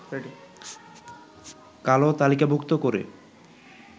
কালো তালিকাভুক্ত করে